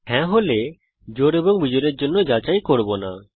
হ্যাঁ হলে জোড় এবং বিজোড়ের জন্য যাচাই করব না